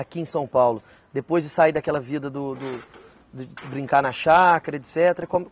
aqui em São Paulo, depois de sair daquela vida do do de brincar na chácara, etc. Como